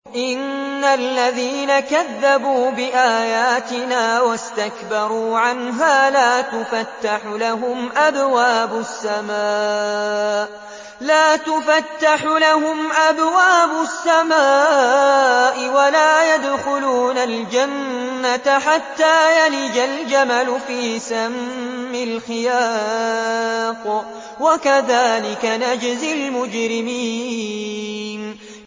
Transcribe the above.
إِنَّ الَّذِينَ كَذَّبُوا بِآيَاتِنَا وَاسْتَكْبَرُوا عَنْهَا لَا تُفَتَّحُ لَهُمْ أَبْوَابُ السَّمَاءِ وَلَا يَدْخُلُونَ الْجَنَّةَ حَتَّىٰ يَلِجَ الْجَمَلُ فِي سَمِّ الْخِيَاطِ ۚ وَكَذَٰلِكَ نَجْزِي الْمُجْرِمِينَ